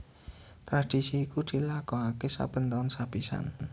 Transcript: Tradisi iku dilakokaké saben taun sapisan